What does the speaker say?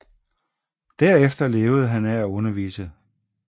Derefter levede han af at undervise